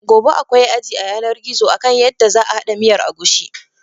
Gobe akwai aji a yanar gizo akan yadda za a haɗa miyar agushi.